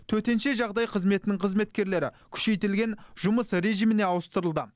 төтенше жағдай қызметінің қызметкерлері күшейтілген жұмыс режиміне ауыстырылды